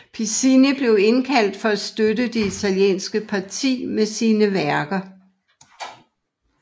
Piccinni blev indkaldt for at støtte det italienske parti med sine værker